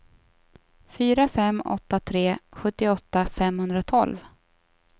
fyra fem åtta tre sjuttioåtta femhundratolv